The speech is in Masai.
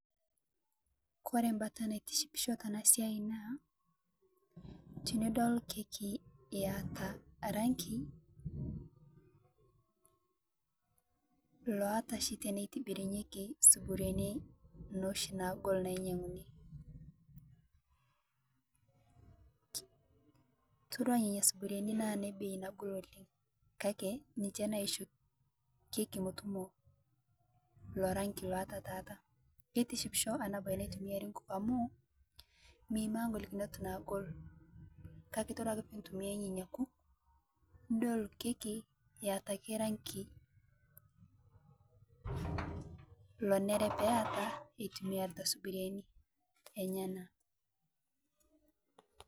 Kore mbaata naitisipisho tena siai naa tinidol kekii eeta rangi loata shii tene tiburinyekii subuarini noshii naagol nainyayuni. Itodua nenia suburiani naa ne beii nagol oleng kaki ninchee naishoo keki mootumo lo rangi loataa taata. Keitishipisho ana baye naitumiari nkuuk amu miimaa nkolikinot naagol. Kaki itodua ake pii itumia nenia nkuuk nidool kekii eeta ake rangi loeneere pee eeta etumiarita suburiana enyaana.